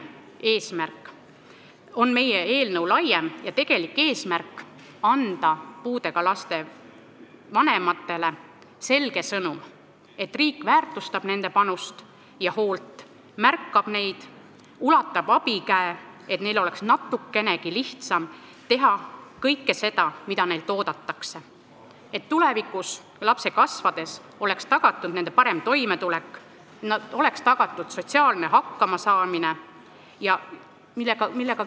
Seega on meie eelnõu laiem ja tegelik eesmärk anda puudega laste vanematele selge sõnum, et riik väärtustab nende panust ja hoolt, märkab neid, ulatab abikäe, et neil oleks natukenegi lihtsam teha kõike seda, mida neilt oodatakse, ja et tulevikus, lapse kasvades, oleks tagatud tema parem toimetulek ja sotsiaalne hakkamasaamine.